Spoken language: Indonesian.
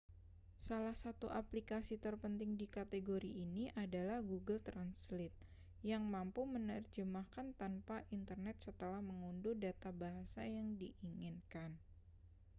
salah satu aplikasi terpenting di kategori ini adalah google translate yang mampu menerjemahkan tanpa internet setelah mengunduh data bahasa yang diinginkan